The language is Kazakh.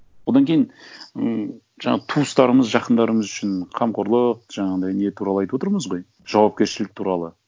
одан кейін м жаңа туыстарымыз жақындарымыз үшін қамқорлық жаңағындай не туралы айтып отырмыз ғой жауапкершілік туралы